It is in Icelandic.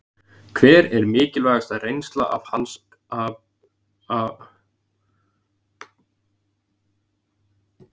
Hver er mikilvægasta reynsla hans af störfum sínum?